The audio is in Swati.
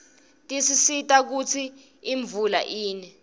tisisita kutsi imvula ine